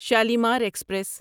Shalimar express